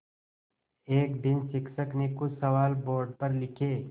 एक दिन शिक्षक ने कुछ सवाल बोर्ड पर लिखे